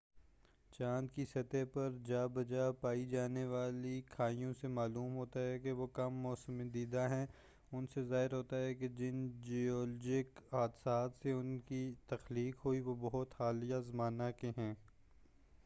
چاند کی سطح پر جا بجا پائی جانے والی کھائیوں سے معلوم ہوتا ہے کہ وہ کم موسم دیدہ ہیں ان سے ظاہر ہو تا ہے کہ جن جیولوجک حادثات سے ان کی تخلیق ہوئی وہ بہت حالیہ زمانہ کے ہیں